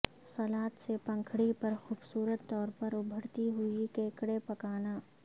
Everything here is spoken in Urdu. سلاد سے پنکھڑی پر خوبصورت طور پر ابھرتی ہوئی کیکڑے پکانا